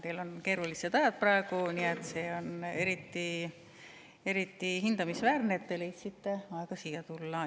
Teil on keerulised ajad praegu, nii et see on eriti hindamisväärne, et te leidsite aega siia tulla.